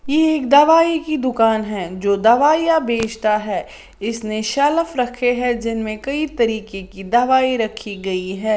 एक दवाई की दुकान है जो दवाइयां बेचता है इसने शेल्फ रखे हैं जिनमें कई तरीके की दवाई रखी गई है।